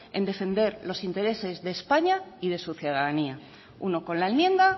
en defender los intereses de españa y de su ciudadanía uno con la enmienda